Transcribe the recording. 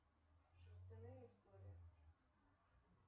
шерстяные истории